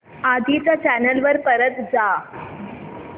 आधी च्या चॅनल वर परत जा